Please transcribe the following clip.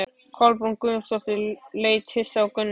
Kolbrún Guðjónsdóttir leit hissa á Gunnar.